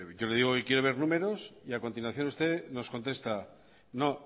yo le digo que quiere ver números y a continuación usted nos contesta no